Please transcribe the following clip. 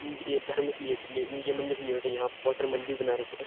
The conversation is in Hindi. ये धर्म से है इनके मंदिर से है यहाँ पे बहुत सारे मंदिर भी बना रखे हैं।